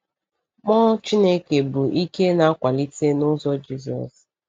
Mmụọ Chineke bụ ike na-akwalite n’ụzọ Jizọs.